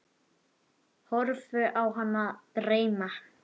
Horfi á hana dreyma.